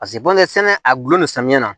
Paseke bɔnɛ sɛnɛ a gulonnen don samiya na